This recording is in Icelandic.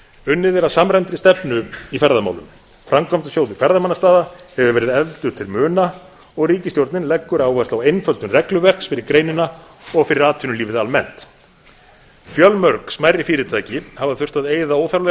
unnið er að samræmdri stefnu í ferðamálum framkvæmdasjóður ferðamannastaða hefur verið efldur til muna og ríkisstjórnin leggur áherslu á einföldun regluverks fyrir greinina og fyrir atvinnulífið almennt fjölmörg smærri fyrirtæki hafa þurft að eyða óþarflega